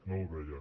no el veia